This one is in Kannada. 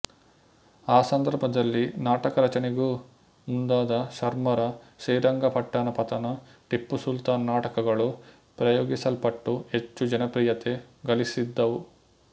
ಆ ಸಂದರ್ಭದಲ್ಲಿ ನಾಟಕ ರಚನೆಗೂ ಮುಂದಾದ ಶರ್ಮರ ಶ್ರೀರಂಗಪಟ್ಟಣ ಪತನ ಟಿಪ್ಪು ಸುಲ್ತಾನ ನಾಟಕಗಳು ಪ್ರಯೋಗಿಸಲ್ಪಟ್ಟು ಹೆಚ್ಚು ಜನಪ್ರಿಯತೆ ಗಳಿಸಿದವು